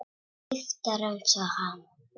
Lyktar einsog hann.